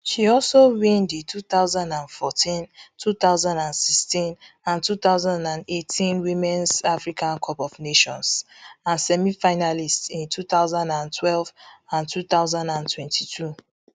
she also win di two thousand and fourteen two thousand and sixteen and two thousand and eighteen womens africa cup of nations and semi finalist in two thousand and twelve and two thousand and twenty-two